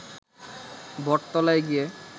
বটতলায় গিয়ে